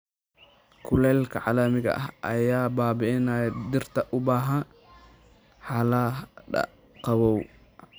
Kulaylka caalamiga ah ayaa baabi'inaya dhirta u baahan xaaladaha qabow.